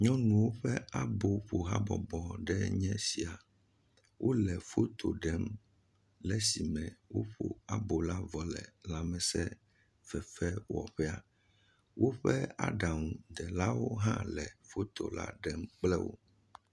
Nyɔnuwo ƒe abo ƒo habɔbɔ enye sia. Wo le foto ɖem le esime woƒo abɔ vɔ la vɔ le lamesefefe wɔƒea. Woƒe aɖaŋudelawo hã le foto la ɖem kple wo.